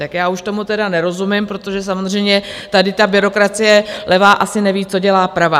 Tak já už tomu tedy nerozumím, protože samozřejmě tady ta byrokracie levá asi neví, co dělá pravá.